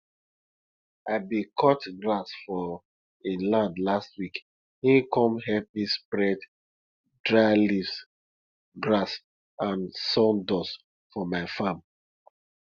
i bin cut grass for e land last week him come help me spread dry leaves grass and sawdust for my farm